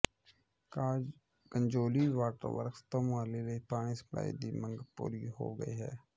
Kajauli water works ਤੋਂ ਮੁਹਾਲੀ ਲਈ ਪਾਣੀ ਸਪਲਾਈ ਦੀ ਮੰਗ ਪੂਰੀ ਹੋ ਗਈ ਹੈ